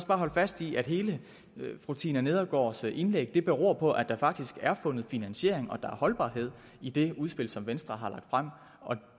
bare holde fast i at hele fru tina nedergaards indlæg beror på at der faktisk er fundet finansiering og at der er holdbarhed i det udspil som venstre har lagt frem